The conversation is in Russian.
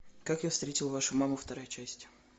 как я встретил вашу маму вторая часть